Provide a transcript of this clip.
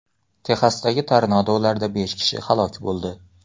Texasdagi tornadolarda besh kishi halok bo‘ldi.